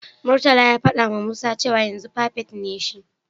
Murtala ya fadawa Musa cewa yanzu firifet ne shi.